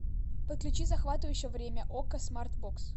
подключи захватывающее время окко смарт бокс